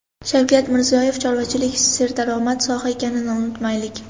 Shavkat Mirziyoyev: chorvachilik serdaromad soha ekanini unutmaylik.